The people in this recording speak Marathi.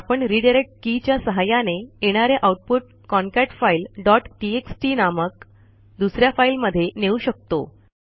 आपण रिडायरेक्ट के च्या सहाय्याने येणारे आऊटपुट concatefileटीएक्सटी नामक दुस या फाईलमध्ये नेऊ शकतो